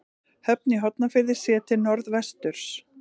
Höfn í Hornafirði séð til norðvesturs.